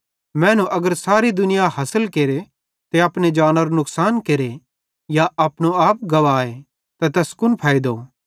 मैनू अगर सारी दुनिया हासिल केरे ते अपनी जानरो नुकसान केरे या अपनो आप गुवाए त तैस कुन फैइदो